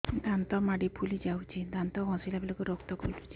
ଦାନ୍ତ ମାଢ଼ୀ ଫୁଲି ଯାଉଛି ଦାନ୍ତ ଘଷିଲା ବେଳକୁ ରକ୍ତ ଗଳୁଛି